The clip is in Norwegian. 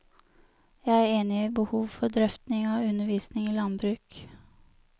Jeg er enig i behov for drøfting av undervisning i landbruk.